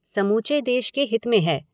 समूचे देश के हित में है।